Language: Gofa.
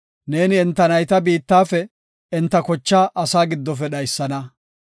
Neeni enta nayta biittafe, enta kochaa asaa giddofe dhaysana.